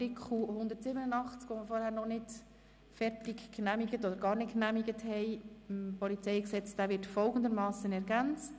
Das bedeutet, Artikel 187 PolG, welchen wir vorhin noch nicht genehmigt haben, wird folgendermassen ergänzt: